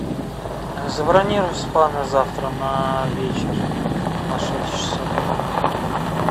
забронируй спа на завтра на вечер на шесть часов